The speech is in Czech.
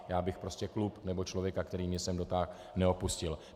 Já bych prostě klub nebo člověka, který mě sem dotáhl, neopustil.